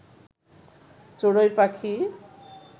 চড়ুই পাখি